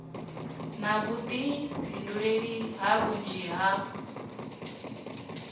na vhuḓifhinduleli ha vhunzhi ha